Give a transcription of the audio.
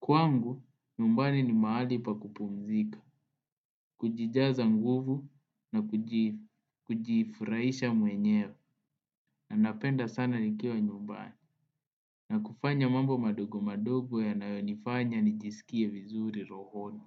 Kwangu, nyumbani ni mahali pa kupumzika, kujijaza nguvu na kujifurahisha mwenyewe na napenda sana nikiwa nyumbani. Na kufanya mambo madogo madogo yanayonifanya nijisikie vizuri rohoni.